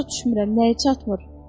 Başa düşmürəm nəyi çatmır.